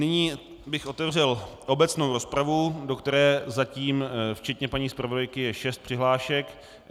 Nyní bych otevřel obecnou rozpravu, do které zatím včetně paní zpravodajky je šest přihlášek.